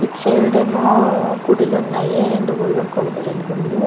ఇటు సైడ్ ఏమో గుడులు ఉన్నాయి రెండు గుడులు